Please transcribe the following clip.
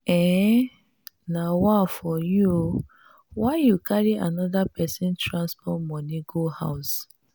um nawaa for you o why you carry anoda pesin transport moni go house?